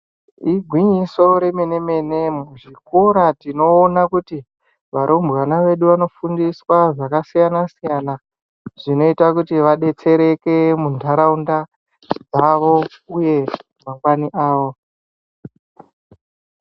Igwinyiso remene-mene muzvikora, varumbwana vedu vanofundiswa zvakasiyana-siyana zvinoita kuti vadetsereke muntaraunda mavo uye mumakanyi avo.